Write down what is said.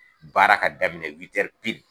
Baara ka daminɛ